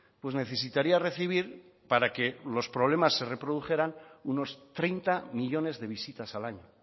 pues necesitaría recibir para que los problemas se reprodujeran unos treinta millónes de visitas al año